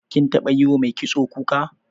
Kin taɓa yiwa mai kitso kuka?